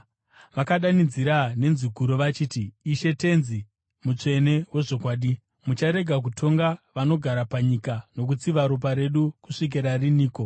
Vakadanidzira nenzwi guru vachiti, “Ishe Tenzi, mutsvene wezvokwadi, mucharega kutonga vanogara panyika nokutsiva ropa redu kusvikira riniko?”